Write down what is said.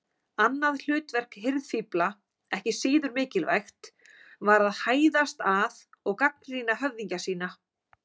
Annað hlutverk hirðfífla, ekki síður mikilvægt, var að hæðast að og gagnrýna höfðingja sína.